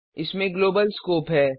इसमें global scope है